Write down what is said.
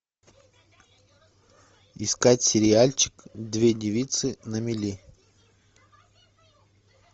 искать сериальчик две девицы на мели